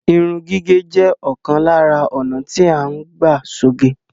Irun gígẹ̀ jẹ́ òkan lárá ònà tí à ń gbà ṣoge.